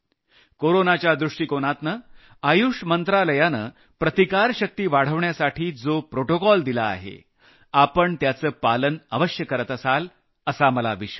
कोरोनाच्या दृष्टिकोनातनं आयुष मंत्रालयानं प्रतिकारशक्ती वाढवण्यासाठी जो प्रोटोकॉल दिला आहे आपण त्याचं पालन अवश्य़ करत असाल असा मला विश्वास आहे